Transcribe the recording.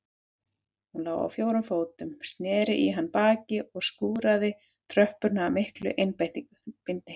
Hún lá á fjórum fótum, snéri í hann baki og skúraði tröppurnar af mikilli einbeitni.